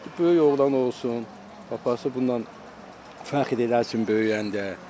Böyük oğlan olsun, papası bundan fəxr eləsin böyüyəndə.